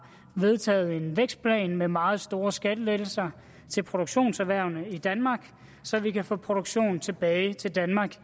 vedtaget en vækstplan med meget store skattelettelser til produktionserhvervene i danmark så vi kan få produktionen tilbage til danmark